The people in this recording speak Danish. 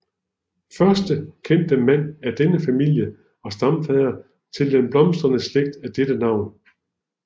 Første kendte mand af denne familie og stamfader til den blomstrende slægt af dette navn